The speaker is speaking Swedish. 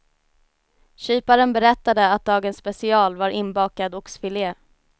Kyparen berättade att dagens special var inbakad oxfilé.